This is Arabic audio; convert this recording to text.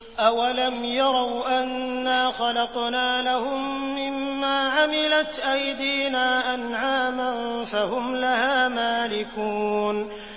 أَوَلَمْ يَرَوْا أَنَّا خَلَقْنَا لَهُم مِّمَّا عَمِلَتْ أَيْدِينَا أَنْعَامًا فَهُمْ لَهَا مَالِكُونَ